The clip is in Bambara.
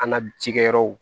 An ka jɛgɛ yɔrɔw